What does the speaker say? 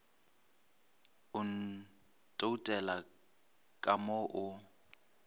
o ntoutela ka mo o